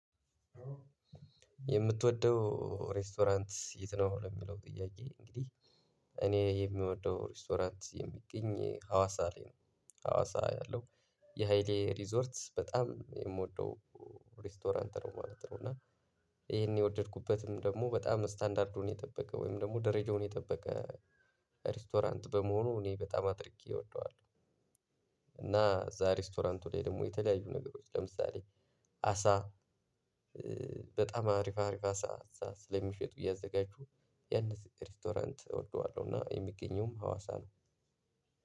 የምትወደው ሬስቶራንት የት ነው ለሚለው ጥያቄ እንግዲህ እኔ የምወደው ሬስቶራንት የሚገኝ ሀዋሳ ላይ ነው ሀዋሳ ያለው የሀይሌ ሪዞርት በጣም የምወደው ሬስቶራንት ነው ማለት ነው እና ይሄን የወደድኩበትም ደግሞ በጣም ስታንዳርዱን የጠበቀ ወይም ደግሞ ደረጃውን የጠበቀ ሬስቶራንት በመሆኑ እኔ በጣም አጥርቄ እወደዋለሁ። እና እዚያ ሪስቶራንት ላይ ደግሞ የተለያዩ ነገሮች ለምሳሌ አሳ በጣም አሪፍ አሪፍ አሳ ስለሚሸጡ እያዘጋጁ ያንን ሬስቶራንት እወደዋለሁ እና የሚገኘውም ሀዋሳ ነው።